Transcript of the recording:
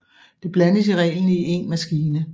Det blandes i reglen i en maskine